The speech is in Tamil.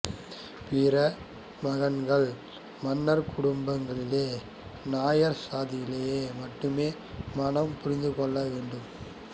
பிற மகன்கள் மன்னர்குடும்பங்களிலோ நாயர் சாதியிலோ மட்டுமே மணம்புரிந்துகொள்ள வேண்டும்